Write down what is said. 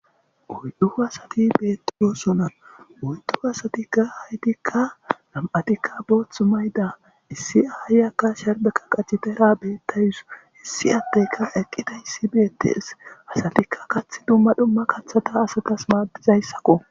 Uydu asati beettiyoosona uydu asati ga haytikka lam'atikka booth mayda issi aay aka sharbeka qachitera beettayus hissi addeyka eqqida issi beettees asatikka kath dumma dhumma kaththata asatas maadizayssakko.